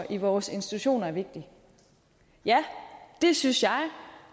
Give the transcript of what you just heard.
i vores institutioner er vigtig ja det synes jeg